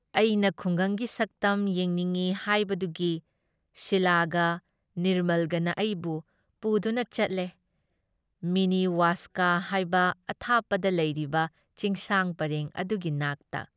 ꯑꯩꯅ ꯈꯨꯡꯒꯪꯒꯤ ꯁꯛꯇꯝ ꯌꯦꯡꯅꯤꯡꯏ ꯍꯥꯏꯕꯗꯨꯒꯤ ꯁꯤꯂꯥꯒ ꯅꯤꯔꯃꯜꯒꯅ ꯑꯩꯕꯨ ꯄꯨꯗꯨꯅ ꯆꯠꯂꯦ ꯃꯤꯅꯤ ꯋꯥꯁꯀꯥ ꯍꯥꯏꯕ ꯑꯊꯥꯞꯄꯗ ꯂꯩꯔꯤꯕ ꯆꯤꯡꯁꯥꯡ ꯄꯔꯦꯡ ꯑꯗꯨꯒꯤ ꯅꯥꯛꯇ ꯫